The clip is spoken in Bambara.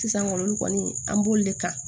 Sisan kɔni olu kɔni an b'olu de kan